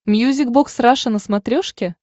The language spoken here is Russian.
мьюзик бокс раша на смотрешке